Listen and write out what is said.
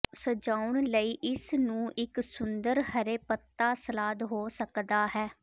ਸਜਾਉਣ ਲਈ ਇਸ ਨੂੰ ਇੱਕ ਸੁੰਦਰ ਹਰੇ ਪੱਤਾ ਸਲਾਦ ਹੋ ਸਕਦਾ ਹੈ